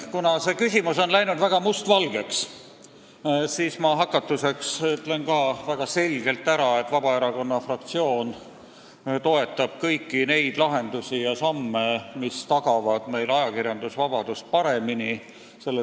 Kuna see küsimus on läinud väga mustvalgeks, siis ma hakatuseks ütlen ka väga selgelt ära, et Vabaerakonna fraktsioon toetab kõiki neid lahendusi ja samme, mis tagavad meil paremini ajakirjandusvabadust.